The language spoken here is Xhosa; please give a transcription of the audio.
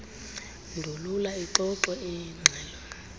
ndulula ixoxwe igxelo